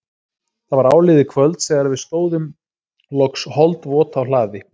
Það var áliðið kvölds þegar við stóðum loks holdvot á hlaði